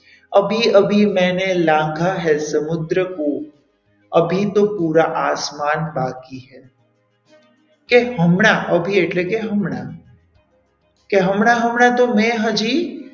અભી અભી મેને લાંગા હે સમુદ્રકો અભી તો પુરા આસમાન બાકી હૈ કે હમણાં અભી એટલે હમણાં કે હમણાં હમણાં તો મેં હજી,